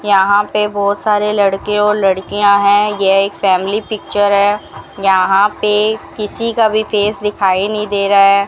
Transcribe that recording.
यहां पे बहोत सारे लड़के और लड़किया है ये एक फैमिली पिक्चर है यहां पे किसी का भी फेस दिखाई नहीं दे रहा --